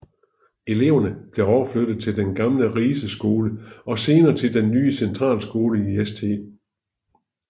Eleverne blev overflyttet til den gamle Rise Skole og senere til den nye centralskole i St